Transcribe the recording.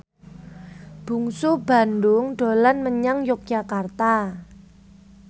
Bungsu Bandung dolan menyang Yogyakarta